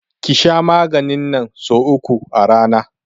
Ki sha maganin nan so uku a rana!